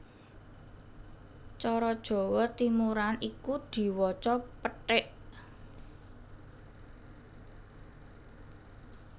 Cara Jawa Timuran iku diwaca péték